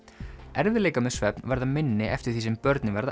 erfiðleikar með svefn verða minni eftir því sem börnin verða